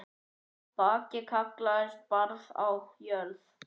Bakki kallast barð á jörð.